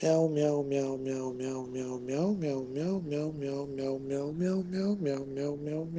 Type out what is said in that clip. мяу мяу мяу мяу мяу мяу мяу мяу мяу мяу мяу мяу мяу мяу мяу мяу мяу мя